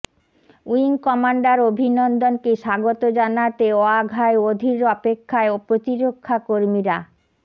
wing commander অভিনন্দনকে স্বাগত জানাতে ওয়াঘায় অধীর অপেক্ষায় প্ৰতিরক্ষা কর্মীরা